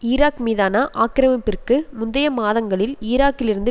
Iraq மீதான ஆக்கிரமிப்பிற்கு முந்தைய மாதங்களில் ஈராக்கிலிருந்து